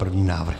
První návrh.